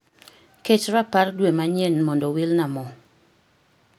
Ket rapar dwe manyien mondo wilna mo.